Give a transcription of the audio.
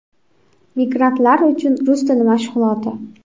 Migrantlar uchun rus tili mashg‘uloti.